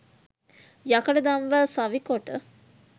යකඩ දම්වැල් සවිකොට